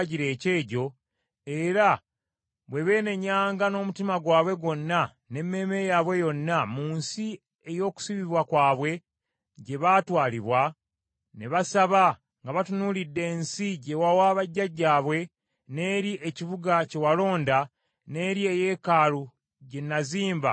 era bwe beenenyanga n’omutima gwabwe gwonna n’emmeeme yaabwe yonna mu nsi ey’okusibibwa kwabwe gye baatwalibwa, ne basaba nga batunuulidde ensi gye wawa bajjajjaabwe, n’eri ekibuga kye walonda, n’eri eyeekaalu gye nazimba ku lw’Erinnya lyo,